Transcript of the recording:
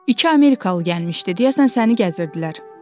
İki amerikalı gəlmişdi deyə sən səni gəzirdilər.